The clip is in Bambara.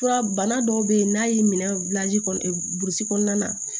Fura bana dɔw bɛ yen n'a y'i minɛ kɔnɔna na